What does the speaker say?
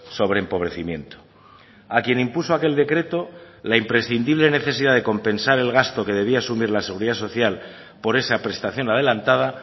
sobre empobrecimiento a quien impuso aquel decreto la imprescindible necesidad de compensar el gasto que debía asumir la seguridad social por esa prestación adelantada